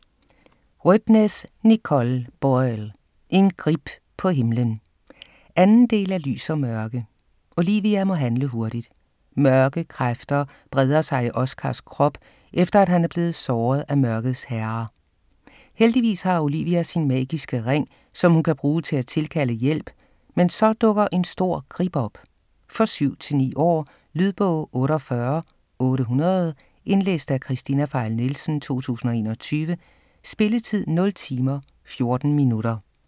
Rødtnes, Nicole Boyle: En grib på himlen 2. del af Lys & mørke. Olivia må handle hurtigt. Mørke kræfter breder sig i Oscars krop, efter han er blevet såret af mørkets herre. Heldigvis har Olivia sin magiske ring, som hun kan bruge til at tilkalde hjælp, men så dukker en stor grib op. For 7-9 år. Lydbog 48800 Indlæst af Kristina Pfeil Nielsen, 2021. Spilletid: 0 timer, 14 minutter.